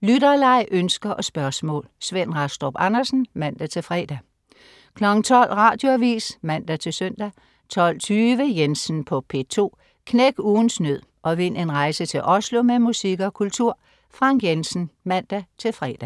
Lytterleg, ønsker og spørgsmål. Svend Rastrup Andersen (man-fre) 12.00 Radioavis (man-søn) 12.20 Jensen på P2. Knæk ugens nød og vind en rejse til Oslo med musik og kultur. Frank Jensen (man-fre)